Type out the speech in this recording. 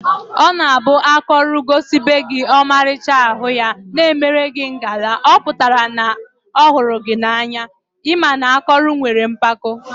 Ọ na abụ akọrọ gosibegi ọmalịcha arụ ya, na emelụ gị ngala, ọpụtara na ọhụrụ gị na anya, ị ma na akọrọ nwere mkpako